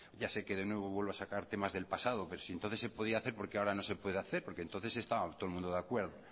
ya sé que de nuevo vuelvo a sacar temas del pasado pero si entonces se podía hacer por qué ahora no se puede hacer porque entonces estaba todo el mundo de acuerdo